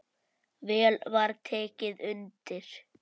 Vel var tekið undir.